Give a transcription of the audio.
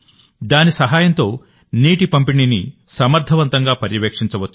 దాని సహాయంతోనీటి పంపిణీని సమర్థవంతంగా పర్యవేక్షించవచ్చు